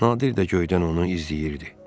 Nadir də göydən onu izləyirdi.